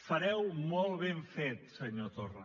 fareu molt ben fet senyor torra